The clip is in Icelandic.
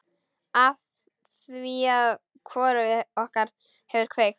Afþvíað hvorugt okkar hefur kveikt.